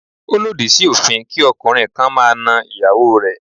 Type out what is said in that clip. Ó lòdì sí òfin kí ọkùnrin kan máa na ìyàwó rẹ̀.